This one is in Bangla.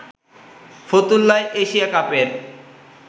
ফতুল্লায় এশিয়া কাপের